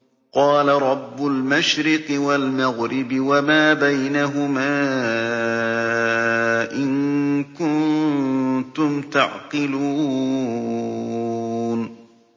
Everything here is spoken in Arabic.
قَالَ رَبُّ الْمَشْرِقِ وَالْمَغْرِبِ وَمَا بَيْنَهُمَا ۖ إِن كُنتُمْ تَعْقِلُونَ